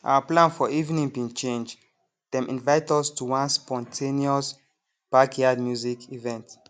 our plan for evening bin change them invite us to one spontaneous backyard music event